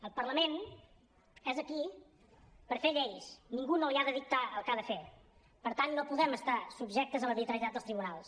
el parlament és aquí per fer lleis ningú no li ha de dictar el que ha de fer per tant no podem estar subjectes a l’arbitrarietat dels tribunals